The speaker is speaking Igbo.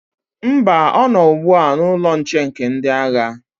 Mba, ọ nọ ugbu a n'ụlọ nche nke ndị agha.